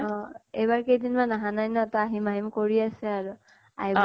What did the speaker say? অহ। এইবাৰ কেইদিন মান আহা নাই ন, আহিম আহিম কৰি আছে আৰু। আহিব